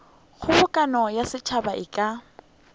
kgobokano ya setšhaba e ka